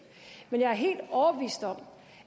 men jeg er helt overbevist om